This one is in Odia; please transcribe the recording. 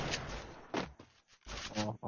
ଓ ହୋ